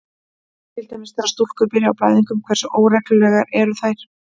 Til dæmis: Þegar stúlkur byrja á blæðingum, hversu óreglulegar eru þær?